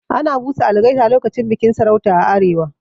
Ana busa algaita lokacin bikin sarauta a arewa.